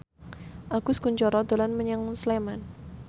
Agus Kuncoro dolan menyang Sleman